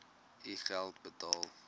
u geld uitbetaal